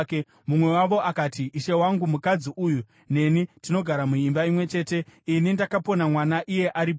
Mumwe wavo akati, “Ishe wangu, mukadzi uyu neni tinogara muimba imwe chete. Ini ndakapona mwana iye aripowo.